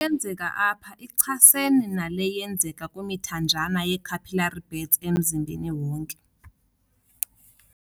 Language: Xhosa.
yenzeka apha ichasene nale yenzeka kwimithanjana yee-capillary beds emzimbeni wonke.